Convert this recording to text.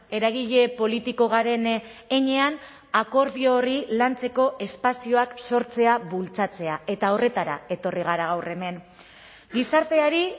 eragile politiko garen heinean akordio horri lantzeko espazioak sortzea bultzatzea eta horretara etorri gara gaur hemen gizarteari